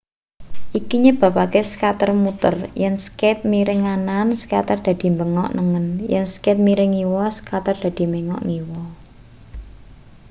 iki nyebabake skater muter yen skate miring nganan skater dadi menggok nengen yen skate miring ngiwa skater dadi menggok ngiwa